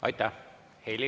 Aitäh!